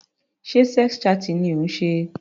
Sé sex chatting ni ó ń ṣe?